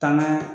Taama